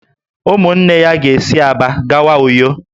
Ụmụnne ya ga-esi Aba gawa Uyo